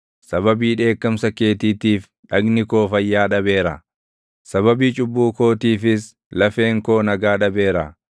Sababii dheekkamsa keetiitiif dhagni koo fayyaa dhabeera; sababii cubbuu kootiifis lafeen koo nagaa dhabeera.